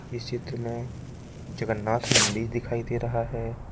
इस चित्र में जगन्नाथ मंदिर दिखाई दे रहा है।